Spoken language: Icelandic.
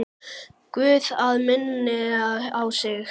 Guð að minna á sig.